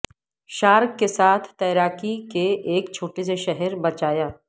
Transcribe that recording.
shark کے ساتھ تیراکی کے ایک چھوٹے سے شہر بچایا